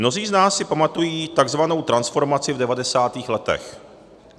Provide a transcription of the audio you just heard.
Mnozí z nás si pamatují takzvanou transformaci v 90. letech.